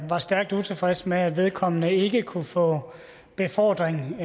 var stærkt utilfreds med at vedkommende ikke kunne få befordring